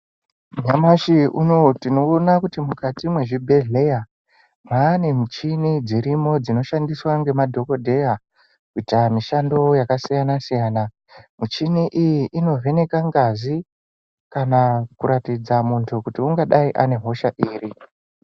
Nyamashi unowu tino ona kuti mukati mwe zvibhedhleya mwane muchini dzirimo dzino shandiswa nge madhokodheya kuita mishando yaka siyana siyana muchini iyi ino vheneka ngazi kana kuratidza muntu kuti ungadai ane hosha iri.